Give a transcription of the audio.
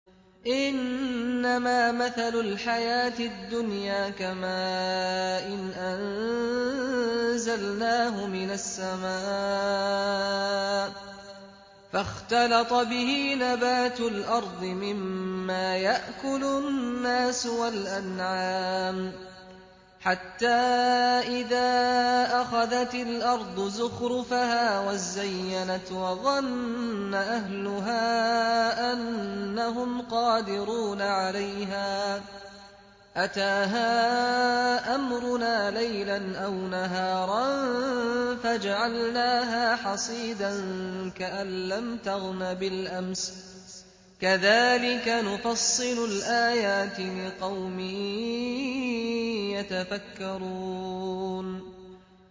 إِنَّمَا مَثَلُ الْحَيَاةِ الدُّنْيَا كَمَاءٍ أَنزَلْنَاهُ مِنَ السَّمَاءِ فَاخْتَلَطَ بِهِ نَبَاتُ الْأَرْضِ مِمَّا يَأْكُلُ النَّاسُ وَالْأَنْعَامُ حَتَّىٰ إِذَا أَخَذَتِ الْأَرْضُ زُخْرُفَهَا وَازَّيَّنَتْ وَظَنَّ أَهْلُهَا أَنَّهُمْ قَادِرُونَ عَلَيْهَا أَتَاهَا أَمْرُنَا لَيْلًا أَوْ نَهَارًا فَجَعَلْنَاهَا حَصِيدًا كَأَن لَّمْ تَغْنَ بِالْأَمْسِ ۚ كَذَٰلِكَ نُفَصِّلُ الْآيَاتِ لِقَوْمٍ يَتَفَكَّرُونَ